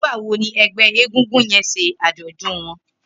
Nigbà wó ni ẹgbẹ égúngún yèn ṣé ájọ̀dún wọn?